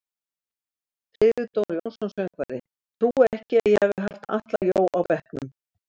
Friðrik Dór Jónsson söngvari: Trúi ekki að ég hafi haft Atla Jó á bekknum.